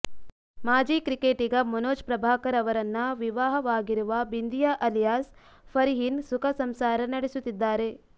ಮಾಜಿ ಕ್ರಿಕೆಟಿಗ ಮನೋಜ್ ಪ್ರಭಾಕರ್ ಅವರನ್ನ ವಿವಾಹವಾಗಿರುವ ಬಿಂದಿಯಾ ಅಲಿಯಾಸ್ ಫರ್ಹೀನ್ ಸುಖ ಸಂಸಾರ ನಡೆಸುತ್ತಿದ್ದಾರೆ